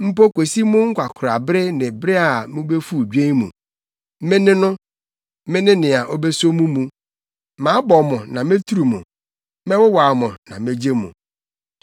Mpo kosi mo nkwakoraa bere ne bere a mubefuw dwen mu, Me ne no, Me ne nea obeso mo mu. Mabɔ mo na meturu mo; mɛwowaw mo na megye mo.